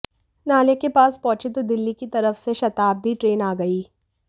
नाले के पास पहुंचे तो दिल्ली की तरफ से शताब्दी ट्रेन आ गई